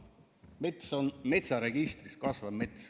Mets, kasvav mets on metsaregistris.